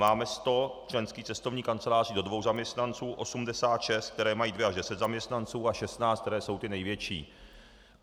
Máme 100 členských cestovních kanceláří do dvou zaměstnanců, 86, které mají 2 až 10 zaměstnanců, a 16, které jsou ty největší.